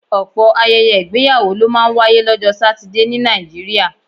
Ọ̀pọ̀ ayẹyẹ ìgbéyàwó ló máa ń wáyé lọ́jọ́ Satidé ní Nàìjíríà